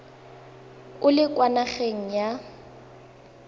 o le kwa nageng ya